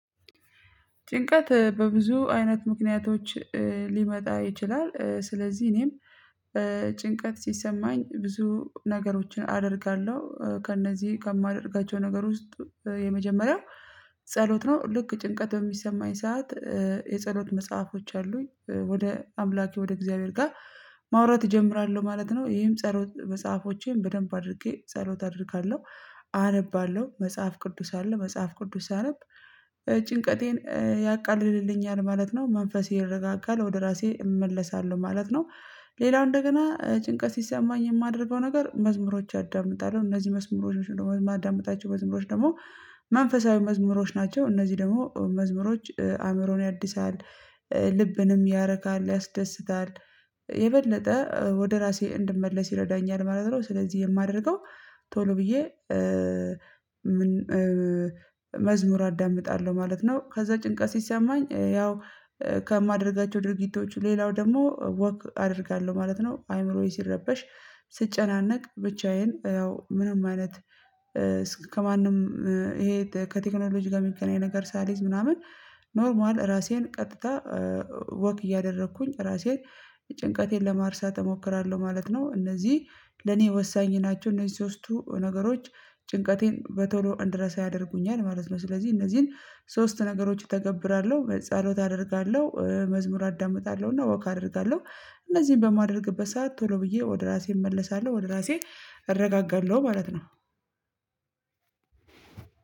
ጭንቀት በብዙ አይነት ምክንያቶች ሊመጣ ይችላል። ስለዚህ እኔም ጭንቀት ሲሰማኝ ብዙ ነገሮችን አደርጋለሁ ከእነዚህ ከማደርጋቸው ነገር ውስጥ የመጀመሪያ ጸሎት ነው። ልክ ጭንቀት በሚሰማኝ ሰዓት የጸሎት መጽሐፎች አሉኝ ወደ አምላኬ ወደ እግዚአብሔር ጋር ማውራት እጀምራለሁ ማለት ነው። ይሄም ጸሎት መጽሐፎቼን በደንብ አድርጌ ጸሎት አድርጋለሁ አነባለሁ መጽሐፍ ቅዱስ አለ መጽሐፍ ቅዱስ ሳነብ ጭንቀቴን ያቃልልልኛል ማለት ነው። መንፈስ ይረጋጋል ወደ ራሴ እመለሳለሁ ማለት ነው። ሌላው እንደገና ጭንቀት ሲሰማኝ የማደርገው ነገር መዝሙሮች አዳምጣለሁ እነዚህ መዝሙሮች ነው የማዳምጣቸው መዝሙሮች ደግሞ መንፈሳዊ መዝሙሮች ናቸው። እነዚህ ደግሞ መዝሙሮች አእምሮን ያድሳል ልብንም ያረካል ያስደስታል። የበለጠ ወደ ራሴ እንድመለስ ይረዳኛል ማለት ነው። ስለዚህ የማደርገው ቶሎ ብዬ መዝሙር አዳምጣለሁ ማለት ነው። ከዛ ጭንቀት ሲሰማኝ ያው ከማደርጋቸው ድርጊቶቹ ሌላው ደግሞ ወክ አደርጋለሁ ማለት ነው። አይምሮዬ ሲረበሽ ስጨናነቅ ብቻዬን ያው ምንም ማለት እስከ ከማንም ይሄ ከቴክኖሎጂ ጋር የሚገናኝ ነገር ሳልይዝ ምናምን ኖርማል ራሴን ቀጥታ ወክ እያደረኩኝ ራሴን ጭንቀቴን ለማርሳት እሞክራለሁ ማለት ነው። እነዚህ ለኔ ወሳኝ ናቸው። እነዚህ ሶስቱ ነገሮች ጭንቀቴን በቶሎ እንድረሳ ያደርጉኛል ማለት ነው። ስለዚህ እነዚህን ሶስት ነገሮች እተገብራለሁ ጸሎት አደርጋለሁ መዝሙር አዳምጣለሁና ወክ አደርጋለሁ። እነዚህን በማደርግበት ሰዓት ቶሎ ብዬ ወደ ራሴ እመለሳለሁ ወደ ራሴ እረጋጋለሁ ማለት ነው።